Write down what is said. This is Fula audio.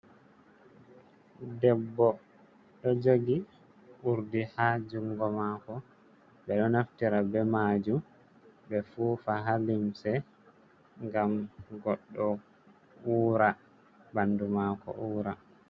Ɗebbo ɗo jogi urdi ha jungo mako, ɓe ɗo naftira be majum ɓe fufa ha limse ngam goɗɗo ura, ɓandu mako ura.